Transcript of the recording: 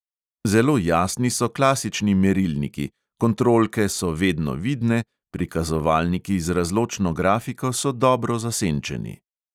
Zelo jasni so klasični merilniki, kontrolke so vedno vidne, prikazovalniki z razločno grafiko so dobro zasenčeni.